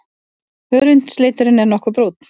Hörundsliturinn nokkuð brúnn.